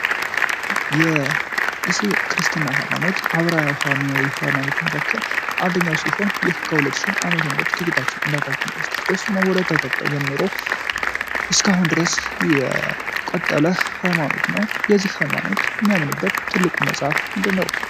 ክርስትና ሃይማኖት አብራሪያዊ ሃይማኖቱን አንደኛው ሲሆን ይህን ዓ.ም ጀምሮ እስካሁን ድረስ የቆጠረ ሃይማኖት ነው ሃይማኖት የሚያምንበት ትልቁ መጽሐፍ ምንድነው